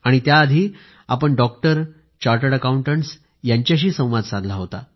आणि त्याआधी आपण डॉक्टर चार्टर्ड अकौंटटस् यांच्याशी संवाद साधला होता